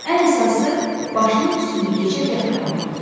Ən əsası, başının üstünü gecə qəfil almaqdır.